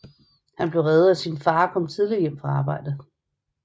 Han ble reddet af sin far som kom tidligt hjem fra arbejde